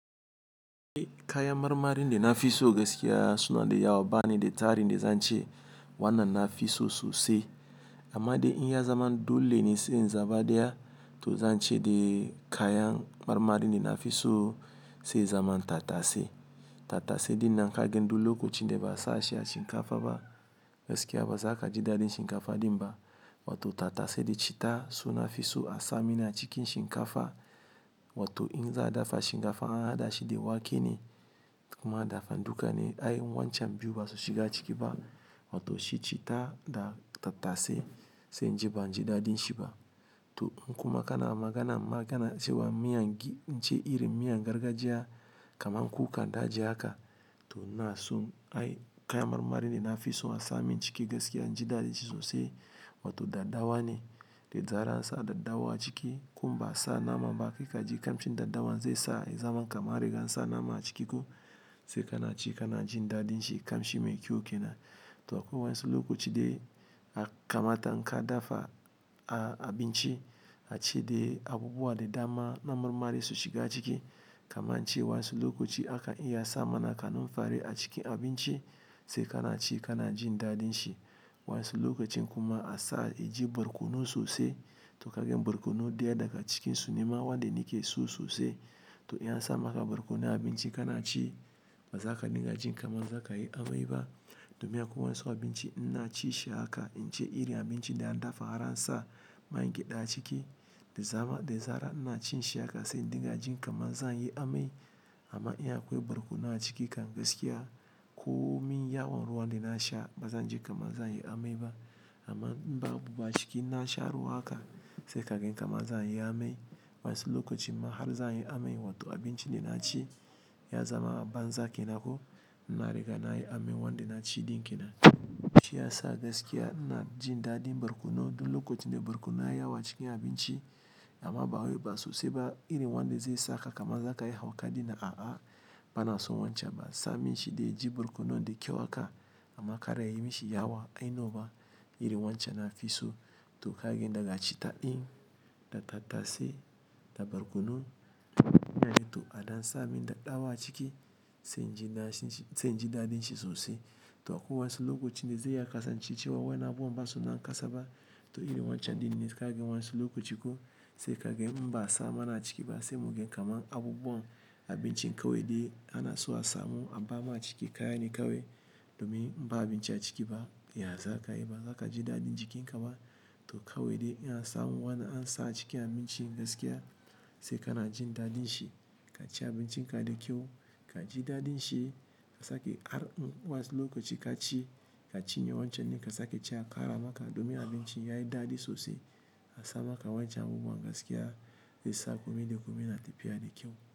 Kayan marmarin da nafiso gaskiya sunade yawa banida tarinde zance wanna nafiso sosai. Amma de inya zaman dolene se in zaba daya to zance de kayan marmarine na fiso se zaman tattase. Tattase dinnan kagen duk lokacinda ba'a sashi a shinkafa ba, gaskiya bazakaji daɗin shinkafa dinba. Wato tattase de chitta suna fiso a samin a cikin shinkafa wato in za'a dafa shinkafa ana hadashi de wakene koma dafa dukane ai wancan biyu basu shiga cikiba wato shi chitta da tattase se inji banji daɗin shiba. To kuma kana maganamma kana cewa miyan ge ire miyan gargajiya kamar kukan daji haka, to inason ai kayan marmarine nafiso asa min ciki gaskiya inji daɗi sosai wato daddawa ne. Da zaran ansa daddawa a ciki ko ba'sa namaba zakaji kamshin daddawan zaisa ya zaman kaman anriga ansa nama a ciki ko se kanaci kanajin daɗinshi kamshi mai kyau kenan. To akwai wa'insu lokaci de a kamata inka dafa a abinci ace de abubuwa de dama na marmari su shiga ciki kamar cewa wa'insu lokaci aka iya a sa mana kanumfari a cikin abinci se kana ci kana jin daɗin shi. Wa'insu lokacin kuma asa yaji barkono sosai to kagen barkono daya daga cikinsu nema wanda nekeso sosai. To in ansa maka barkono a abinci kana ci bazaka dinga jin kaman zakayi amaiba, domin akwai wa'insu abinci inna cishi haka ince ire abinci de an dafa har ansa man gyaɗa a ciki da zaran da zaran ina cinshi haka se dinga jin kaman zanyi amai amma in akwai barkono a ciki kan gaskiya komin yawon ruwan denasha bazanji kaman zanyi amaiba. Amma inba abubuwa cikin nasha ruwa haka, se kagen kama zanyi amai. Wa'insu lokacin ma har zanyi amai wato abinci de naci ya zama banza kenanko na riga nayi amai wanda naci din kenan. Shiyasa gaskiya ina jin daɗin barkono duk lokacinda barkono ya yawa cikin abinci amma bawai ba sosai ba irin wanda zai saka kaman zakayi hauka dinnan a'a banason wancan ba. Samin shide yaji barkono de kyau haka amma kar yayi mishi yawa ainoba irin wancan nafiso to kagen daga chitta din da tattase da barkono to a dansa min dadɗawa a ciki se inji daɗin shi sosai. To akwai wa'insu lokacin de zai iya a kasance cewan wa'innan abubuwan ba suna kasaba to ire wancan din ne kagen wa'insu lokaci ko se kagen ba'a sa mana a cikiba se muge kamar abubuwan abinci kawaide anaso a samu abama ciki kayane kawai domin ba abinci a ciki ba iya zakayi ba. Zakaji daɗin jikin kaba to kawai de in ansa wanda ansa a cikin abinci gaskiya se kana jin daɗin shi kaci abincinka da kyau kaji daɗin shi. Kasake har wa'insu lokaci kaci ka cinye wancan ne kasake ce a ƙara maka domin abinci yayi daɗi sosai a sa maka wancan abubuwan gaskiya de sa kome da kome na tafiya da kyau.